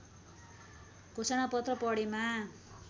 घोषणापत्र पढेमा